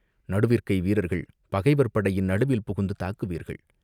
நடுவிற்கை வீரர்கள் பகைவர் படையின் நடுவில் புகுந்து தாக்குவீர்கள்.